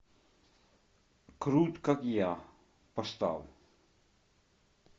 крут как я поставь